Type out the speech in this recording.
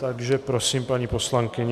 Takže prosím paní poslankyni.